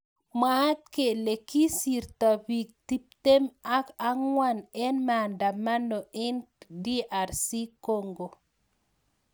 Mwaat kele kisirto pik tiptim ak angwan eng maandamano ing DR Congo.